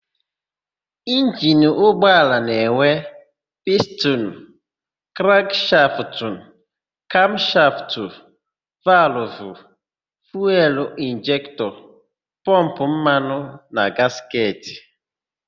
Injini ụgbọala na-enwe: pistinu, krankshaftụ, kamshaftụ, valụvụ, fuelu injektọ, pọmpụ mmanụ na gasketị.